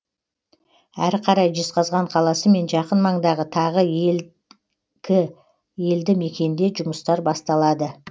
әрі қарай жезқазған қаласы мен жақын маңдағы тағы екі елді мекенде жұмыстар басталады